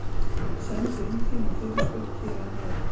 Sendu inn þína fyrirspurn hér að neðan!